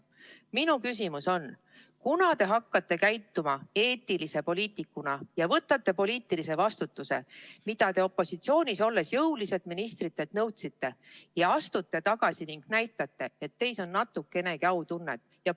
Minu küsimus on järgmine: kunas te hakkate käituma eetilise poliitikuna ja võtate poliitilise vastutuse, mida te opositsioonis olles jõuliselt ministritelt nõudsite, ja astute tagasi ning näitate, et teis on natukenegi autunnet?